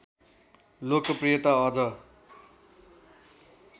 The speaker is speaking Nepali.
लोकप्रियता अझ